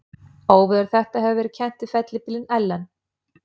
Óveður þetta hefur verið kennt við fellibylinn Ellen.